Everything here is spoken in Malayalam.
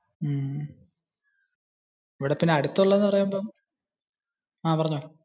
എവിടെ പിന്നെ അടുത്ത് ഉള്ളത് എന്ന് പറയുമ്പോ. ആഹ് പറഞ്ഞോ.